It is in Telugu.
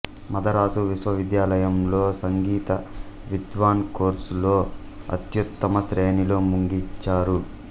మదరాసు విశ్వవిద్యాలయంలో సంగీ త విద్వాన్ కోర్సులో అత్యుత్తమ శ్రేణిలో ముగించారు